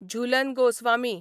Jhulan Goswami